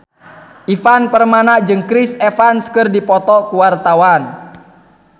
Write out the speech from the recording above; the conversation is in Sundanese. Ivan Permana jeung Chris Evans keur dipoto ku wartawan